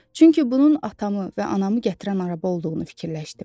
Çünki bunun atamı və anamı gətirən araba olduğunu fikirləşdim.